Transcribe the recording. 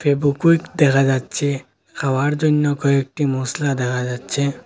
ফেবুকুইক দেখা যাচ্ছে খাওয়ার জইন্য কয়েকটি মশলা দেখা যাচ্ছে।